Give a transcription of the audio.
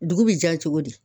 Dugu bi diya cogo di.